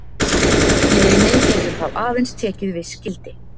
Leiðnin getur þá aðeins tekið viss gildi.